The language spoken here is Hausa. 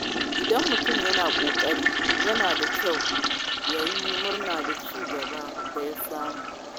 Idan mutum yana ƙoƙari, yana da kyau ya yi murna da ci gaban da ya samu.